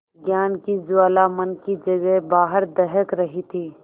ज्ञान की ज्वाला मन की जगह बाहर दहक रही थी